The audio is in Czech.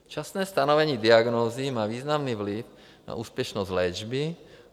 Včasné stanovení diagnózy má významný vliv na úspěšnost léčby.